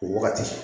O wagati